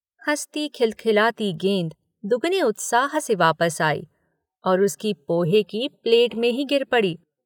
हँसती-खिल- खिलाती गेंद दुगने उत्साह से वापस आई और उसकी पोहे की प्लेट में ही गिर पड़ी।